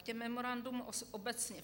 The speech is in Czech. K těm memorandům obecně.